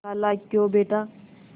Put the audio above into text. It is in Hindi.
खालाक्यों बेटा